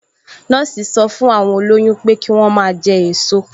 Nọ́ọ̀sì sọ fún àwọn olóyún pé kí wọ́n máa jẹ èso